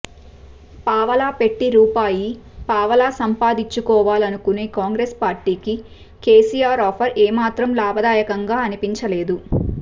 పావలా పెట్టి రూపాయి పావలా సంపాదించుకోవాలనుకునే కాంగ్రెస్ పార్టీకి కేసీఆర్ ఆఫర్ ఏమాత్రం లాభదాయకంగా అనిపించలేదు